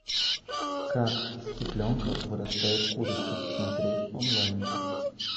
как из цыпленка вырастает курица смотреть онлайн